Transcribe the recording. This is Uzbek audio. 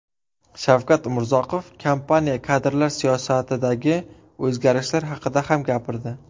Shavkat Umurzoqov kompaniya kadrlar siyosatidagi o‘zgarishlar haqida ham gapirdi.